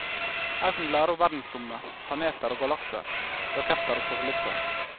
Her kan du lære om verdensrommet, planeter og galakser, raketter og satellitter.